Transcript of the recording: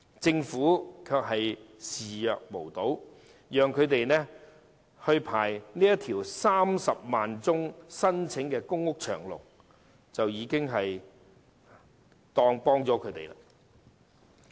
政府對此視若無睹，只讓這些家庭列入有近30萬宗申請的公屋輪候冊上"排長龍"，便當作已提供幫助。